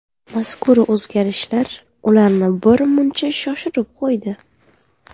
Mazkur o‘zgarishlar ularni bir muncha shoshirib qo‘ydi.